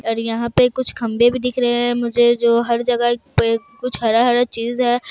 और यहां पे कुछ खंबे भी दिख रहे हैं मुझे जो हर जगह एक कुछ हरा-हरा चीज है।